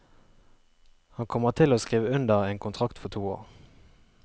Han kommer til å skrive under en kontrakt for to år.